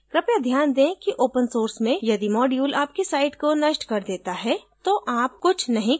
कृपया ध्यान दें कि open source में यदि module आपकी site को नष्ट कर देता है तो आप कुछ नहीं कर सकते